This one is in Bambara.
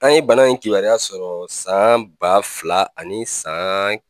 An ye bana in kibaruya sɔrɔ san ba fila ani san